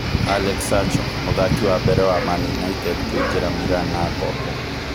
Alex Sacho: Mũthaki wambere wa Maũndũ United kũingĩra Mĩrani na ngombo